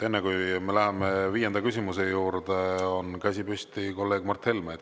Enne kui me läheme viienda küsimuse juurde, on käsi püsti kolleeg Mart Helmel.